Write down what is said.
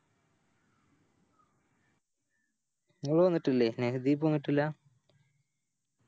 ഇങ്ങള് വന്നിട്ടില്ലേ സ്നേഹദീപ് വന്നിട്ടില്ല